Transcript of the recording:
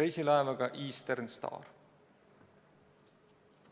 reisilaevaga Eastern Star.